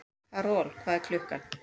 Karol, hvað er klukkan?